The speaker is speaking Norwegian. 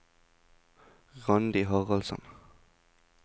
Randi Haraldsen